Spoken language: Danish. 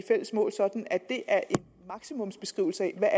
fælles mål sådan at det er en maksimumsbeskrivelse af hvad